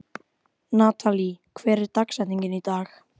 Natalí, hver er dagsetningin í dag?